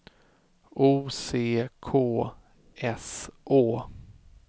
O C K S Å